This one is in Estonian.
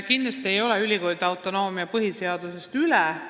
Kindlasti ei ole ülikoolide autonoomia põhiseadusest üle.